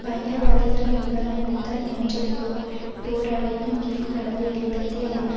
பயங்கரவாதிகள் மீதான யுத்தம் என்ற போ போர்வையின் கீழ் கடந்த இருபத்தி ஐந்து